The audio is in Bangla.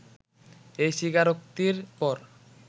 এই স্বীকারোক্তির পর